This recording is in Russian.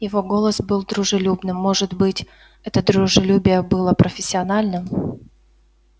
его голос был дружелюбным может быть это дружелюбие было профессиональным